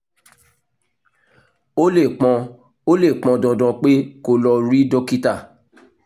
ó lè pọn ó lè pọn dandan pé kó o lọ rí dókítà